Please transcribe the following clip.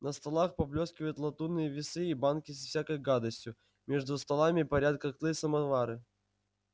на столах поблескивают латунные весы и банки со всякой гадостью между столами парят котлы-самовары